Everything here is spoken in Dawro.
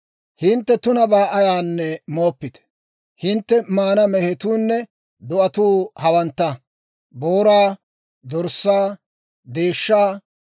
Hintte maana mehetuunne do'atuu hawantta; booraa, dorssaa, deeshshaa,